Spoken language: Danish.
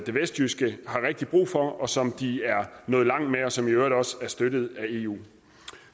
det vestjyske har rigtig brug for og som de er nået langt med og som jo i øvrigt også er støttet af eu